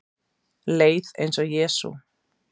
Leið eins og Jesú